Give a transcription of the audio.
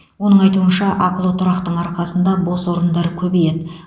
оның айтуынша ақылы тұрақтың арқасында бос орындар көбейеді